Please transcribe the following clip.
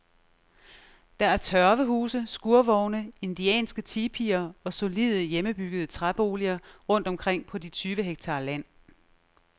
Der er tørvehuse, skurvogne, indianske tipier og solide, hjemmebyggede træboliger rundt omkring på de tyve hektar land.